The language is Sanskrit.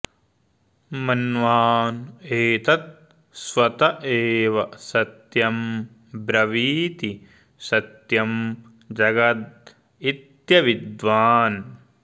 मन्वान एतत् स्वत एव सत्यं ब्रवीति सत्यं जगदित्यविद्वान्